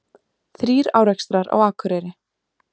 Þrír árekstrar á Akureyri